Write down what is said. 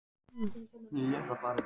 Og Syndin mun biðja um VISKÍ í kaffið.